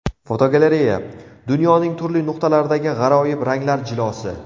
Fotogalereya: Dunyoning turli nuqtalaridagi g‘aroyib ranglar jilosi.